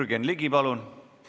Jürgen Ligi, palun!